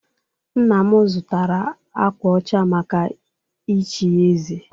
Nna m zụtara akwa ọcha maka ichi ya eze